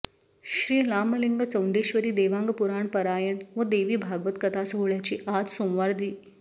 श्री रामलिंग चौंडेश्वरी देवांग पुराण पारायण व देवी भागवत कथा सोहळ्याची आज सोमवार दि